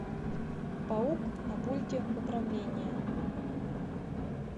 паук на пульте управления